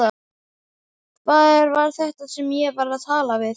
Hver var þetta sem ég var að tala við?